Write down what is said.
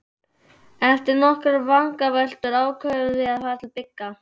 Eftir nokkrar vangaveltur ákváðum við að fara til Bigga.